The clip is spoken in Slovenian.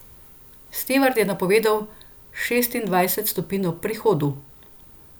Stevard je napovedal šestindvajset stopinj ob prihodu.